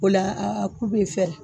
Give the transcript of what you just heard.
O la a ku be fɛrɛ